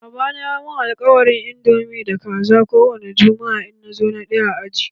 Baba na ya yi mun alkawarin indomi da Kaza ko wani jumma'a in na zo na ɗaya a aji na.